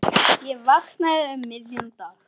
Ég vaknaði um miðjan dag.